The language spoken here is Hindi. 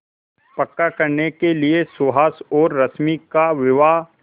पक्का करने के लिए सुहास और रश्मि का विवाह